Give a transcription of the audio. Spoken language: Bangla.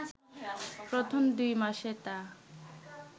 প্রথম দুই মাসে তা